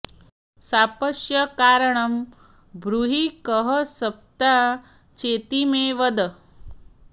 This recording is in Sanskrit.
शापस्य कारणं ब्रूहि कः शप्ता चेति मे वद